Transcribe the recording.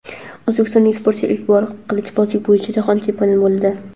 O‘zbekistonlik sportchi ilk bor qilichbozlik bo‘yicha jahon chempioni bo‘ldi.